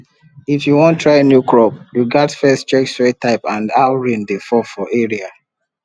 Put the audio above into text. if you wan try new crop you gats first check soil type and how rain dey fall for area